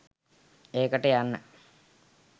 ඒකට යන්න